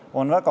See on absurd.